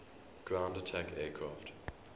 ground attack aircraft